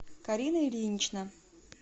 карина ильинична